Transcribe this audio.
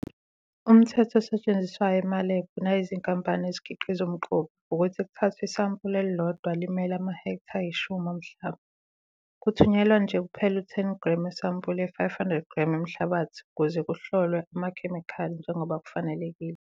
Umthetho osetshenziswayo emalebhu nayizinkampani ezikhiqiza umquba ukuthi kuthathwe isampuli elilodwa limele amahektha ayishumi omhlaba. Kuthunyelwa nje kuphela u-10 g wesampuli ye-500 g yomhlabathi ukuze kuhlolwe amakhemikhali njengoba kufanelekile.